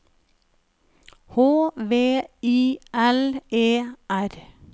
H V I L E R